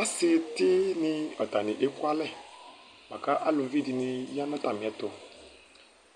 Ɔsi tɩni, atani éƙʊalɛ ƙʊ aluʋɩ ɖɩŋɩ aƴa nu tamiɛtu